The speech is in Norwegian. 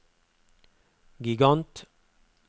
gigant